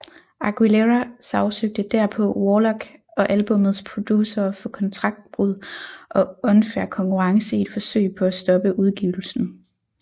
Aguilera sagsøgte derpå Warlock og albummets producere for kontraktbrud og unfair konkurrence i et forsøg på at stoppe udgivelsen